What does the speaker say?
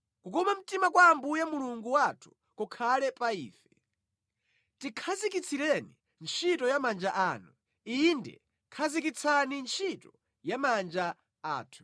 Kukoma mtima kwa Ambuye Mulungu wathu kukhale pa ife; tikhazikitsireni ntchito ya manja athu; inde, khazikitsani ntchito ya manja athu.